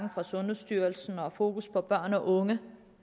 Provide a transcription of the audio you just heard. fra sundhedsstyrelsen og fokus på børn og unge